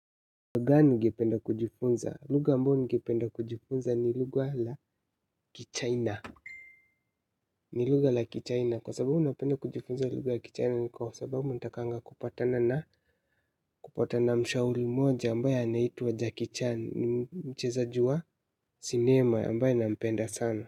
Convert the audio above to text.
Lugha gani ngependa kujifunza? Lugha ambayo ningependa kujifunza ni lugha la kichaina. Ni lugha la kichaina kwa sababu ninapenda kujifunza lugha la kichaina ni kwa sababu natakanga kupatana na, kupatana na mshauri moja ambaye anaitwa Jackie Chan. Ni mchezaji wa cinema ambaye nampenda sana.